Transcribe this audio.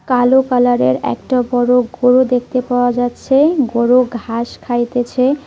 কালো কালার এর একটা বড় গরু দেখতে পাওয়া যাচ্ছে গরু ঘাস খাইতেছে।